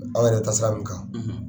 Aw yɛrɛ bɛ taa sira min kan